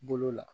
Bolo la